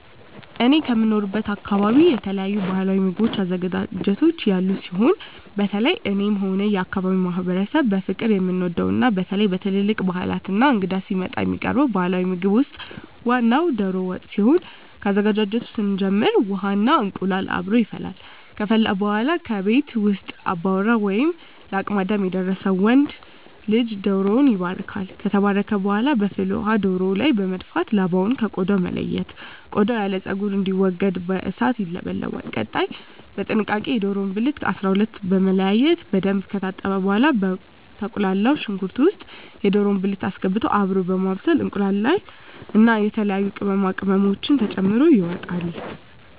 እኔ ከምኖርበት አካበቢ የተለያዩ ባህላዊ ምግብ አዘገጃጀቶች ያሉ ሲሆን በተለየ እኔም ሆነ የአካባቢዉ ማህበረሰብ በፍቅር የምንወደው እና በተለየ በትልልቅ ባህላት እና እንግዳ ሲመጣ የሚቀርበው ባህላዊ ምግብ ውስጥ ዋናው ደሮ ወጥ ሲሆን ከአዘገጃጀቱ ስንጀምር ውሃ እና እንቁላሉ አብሮ ይፈላል ከፈላ በኃላ ከቤት ውስጥ አባወራ ወይም ለአቅመ አዳም የደረሰ ወንድ ልጅ ደሮዉን ይባርካል። ከተባረከ በኃላ በፍል ውሃው ደሮው ላይ በመድፋት ላባውን ከ ቆዳው በመለየት ቆዳው ያለው ፀጉር እንዲወገድ በእሳት ይለበለባል። ቀጣይ በጥንቃቄ የደሮውን ብልት ከ 12 በመለያየት በደንብ ከታጠበ በኃላ በተቁላላው ሽንኩርት ውስጥ የደሮ ብልት አስገብቶ አብሮ በማብሰል እንቁላሉን እና የተለያዩ ቅመማ ቅመሞችን ተጨምሮ ይወጣል።